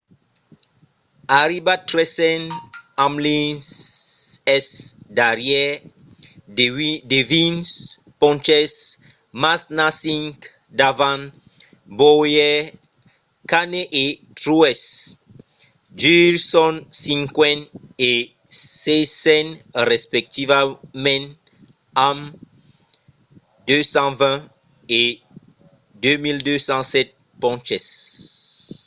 arribat tresen hamlin es darrièr de vint ponches mas n'a cinc davant bowyer. kahne e truex jr. son cinquen e sieisen respectivament amb 2 220 e 2 207 ponches